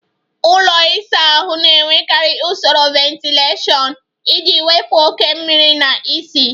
Ụlọ ịsa ahụ na-enwekarị usoro ventilashion iji wepụ oke mmiri na ísì.